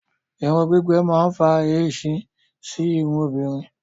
Irun gbígbẹ máa ń fa èéṣí sí irun obìnrin